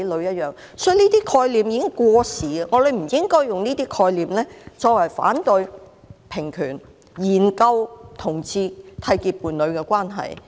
所以，這些概念已經過時，我們不應用這些概念來反對平權，研究同志締結伴侶的關係。